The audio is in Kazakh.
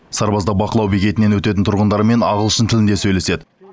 сарбаздар бақылау бекетінен өтетін тұрғындармен ағылшын тілінде сөйлеседі